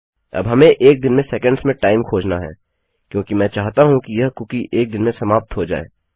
अब हमें एक दिन में सेकंड्स में टाइम खोजना है क्योंकि मैं चाहता हूँ कि यह कुकी एक दिन में समाप्त हो जाए